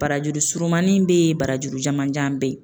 Barajuru surunmanin be yen barajuru jamanjan be yen